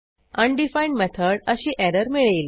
undefined method अशी error मिळेल